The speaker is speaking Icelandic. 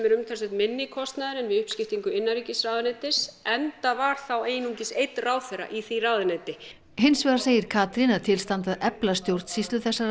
umtalsvert minni kostnaður en við uppskiptingu innanríkisráðuneytis enda var þá einungis einn ráðherra í því ráðuneyti hins vegar segir Katrín að til standi að efla stjórnsýslu þessara